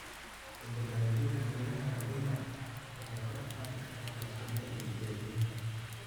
U dabaaldaga guulaha ardaydu waxay kor u qaadi kartaa kalsoonida iyo dhiirigelinta.